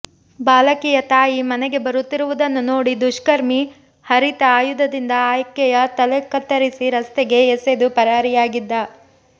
ಬಾಲಕಿಯ ತಾಯಿ ಮನೆಗೆ ಬರುತ್ತಿರುವುದನ್ನು ನೋಡಿ ದುಷ್ಕರ್ಮಿ ಹರಿತ ಆಯುಧದಿಂದ ಆಕೆಯ ತಲೆ ಕತ್ತರಿಸಿ ರಸ್ತೆಗೆ ಎಸೆದು ಪರಾರಿಯಾಗಿದ್ದ